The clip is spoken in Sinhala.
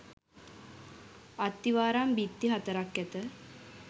අත්තිවාරම් බිත්ති හතරක් ඇත.